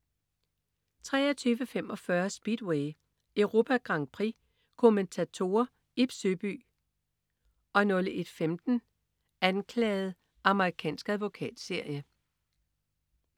23.45 Speedway: Europa Grand Prix. Kommentatorer: Ib Søby 01.15 Anklaget. Amerikansk advokatserie